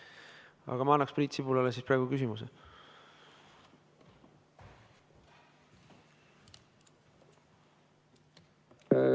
Aga ma annan praegu Priit Sibulale küsimuseks sõna.